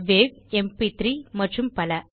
wow MP three மற்றும் பல